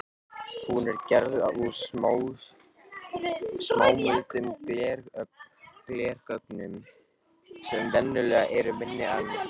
Hún er gerð úr smámuldum glerögnum sem venjulega eru minni en